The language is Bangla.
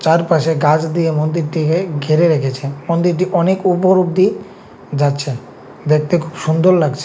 চারপাশে গাছ দিয়ে মন্দিরটিকে ঘিরে রেখেছে মন্দিরটি অনেক উপর অব্দি যাচ্ছে দেখতে খুব সুন্দর লাগছে।